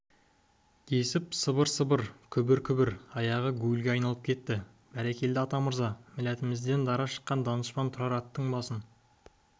десіп сыбыр-сыбыр күбір-күбір аяғы гуілге айналып кетті бәрекелді атамырза милләтімізден дара шыққан данышпан тұрар аттың басын